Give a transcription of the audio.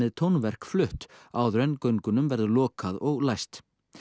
tónverk flutt áður en göngunum verður lokað og læst